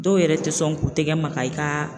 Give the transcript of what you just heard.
Dɔw yɛrɛ tɛ sɔn k'u tɛgɛ maga i ka